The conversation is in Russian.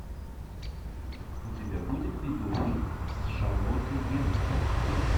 у тебя будет видеофильм с шарлоттой генсбур